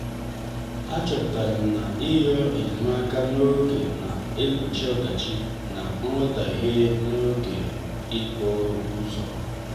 a chọpụtara m na iyo enyemaka n'oge na-egbochi ọdachi na nghotaghie n'oge ikpeazụ.